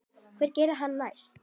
Hvað gerir hann næst?